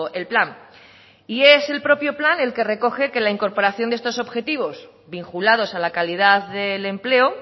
el plan y es el propio plan el que recoge que la incorporación de estos objetivos vinculados a la calidad del empleo